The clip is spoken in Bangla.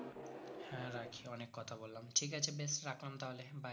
হ্যাঁ রাখি অনেক কথা বললাম ঠিক আছে বেশ রাখলাম তাহলে bye